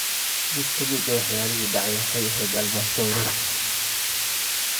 Mid ka mid ah waxyaalihii dhacay waxay ahayd albam sawireed.